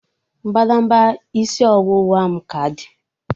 Mbadamba isi ọwụwa m ka dị